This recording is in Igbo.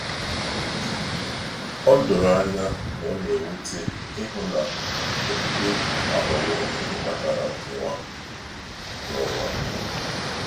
O doro anya na o na-ewute ịhụ na okpukpe aghọwo ihe kpatara nkewa n’ụwa!